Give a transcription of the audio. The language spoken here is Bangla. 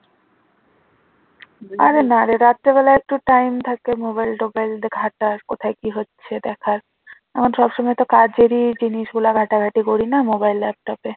আর সব সময় তো কাজ যদি জিনিসগুলো ঘাটাঘাটি করি না mobile laptop